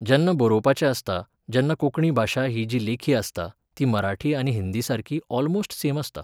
जेन्ना बरोवपाचें आसता, जेन्ना कोंकणी भाशा ही जी लेखी आसता, ती मराठी आनी हिंदीसारकी ऑलमोस्ट सेम आसता.